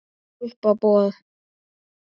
Og á uppboð.